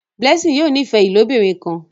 Blessing yóò n'ifẹ ilobirin kán.